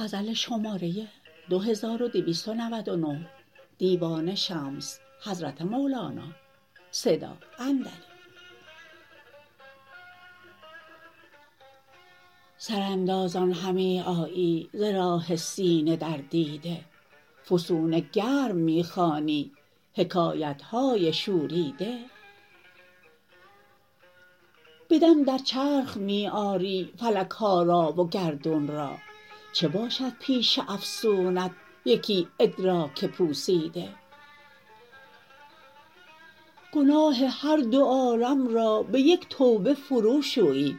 سراندازان همی آیی ز راه سینه در دیده فسونگرم می خوانی حکایت های شوریده به دم در چرخ می آری فلک ها را و گردون را چه باشد پیش افسونت یکی ادراک پوسیده گناه هر دو عالم را به یک توبه فروشویی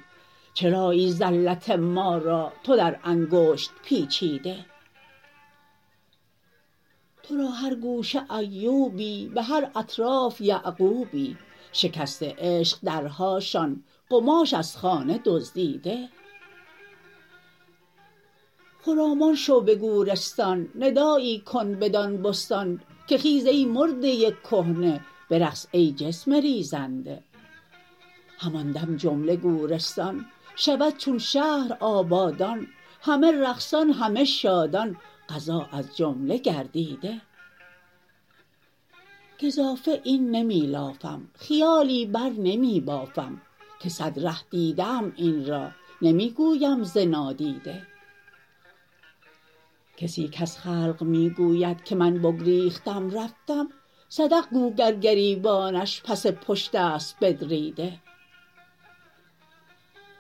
چرایی زلت ما را تو در انگشت پیچیده تو را هر گوشه ایوبی به هر اطراف یعقوبی شکسته عشق درهاشان قماش از خانه دزدیده خرامان شو به گورستان ندایی کن بدان بستان که خیز ای مرده کهنه برقص ای جسم ریزیده همان دم جمله گورستان شود چون شهر آبادان همه رقصان همه شادان قضا از جمله گردیده گزافه این نمی لافم خیالی بر نمی بافم که صد ره دیده ام این را نمی گویم ز نادیده کسی کز خلق می گوید که من بگریختم رفتم صدق گو گر گریبانش پس پشت است بدریده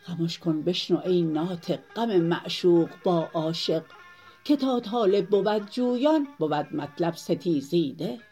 خمش کن بشنو ای ناطق غم معشوق با عاشق که تا طالب بود جویان بود مطلب ستیزیده